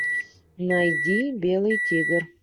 найди белый тигр